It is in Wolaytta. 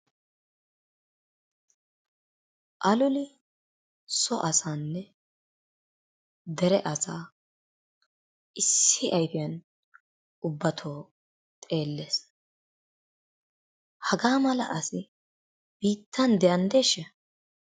Aloli so asaanne dere asaa issi ayfiyan ubbatoo xeellees. Hagaa mala asi biittan de'anddeeshsha?